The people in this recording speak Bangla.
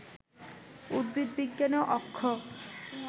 উদ্ভিদবিজ্ঞানে অক্ষ